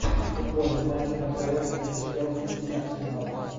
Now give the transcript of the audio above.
футбольный матч апл между челси и арсеналом